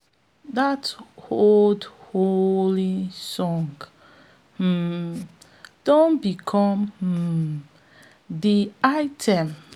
dat old hoeing song um don become um de anthem for our cooperative group um